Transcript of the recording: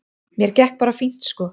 Mér gekk bara fínt sko.